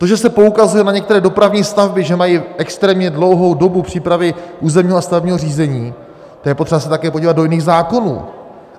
To, že se poukazuje na některé dopravní stavby, že mají extrémně dlouhou dobu přípravy územního a stavebního řízení, to je potřeba se také podívat do jiných zákonů.